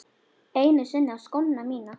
Einu sinni á skóna mína.